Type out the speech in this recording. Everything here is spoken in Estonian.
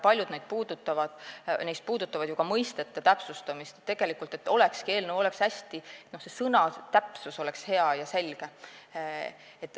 Paljud neist puudutavad ju ka mõistete täpsustamist, et eelnõus oleks sõnatäpsus hea ja selge.